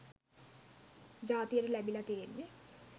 ජාතියට ලැබිලා තියෙන්නේ